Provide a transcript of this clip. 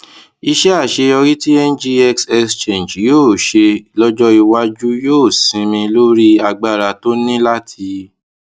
iṣẹ àṣeyọrí tí ngx exchange yóò ṣe lójó iwájú yóò sinmi lórí agbára tó ní láti